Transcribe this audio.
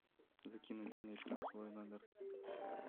закинуть денег на свой номер